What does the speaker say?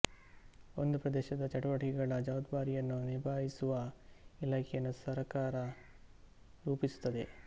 ಒಂದು ಪ್ರದೇಶದ ಚಟುವಟಿಕೆಗಳ ಜವಾಬ್ದಾರಿಯನ್ನು ನಿಭಾಯಿಸುವ ಇಲಾಖೆಯನ್ನು ಸರಕಾರ ರೂಪಿಸುತ್ತದೆ